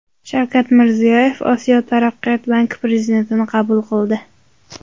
Shavkat Mirziyoyev Osiyo taraqqiyot banki prezidentini qabul qildi.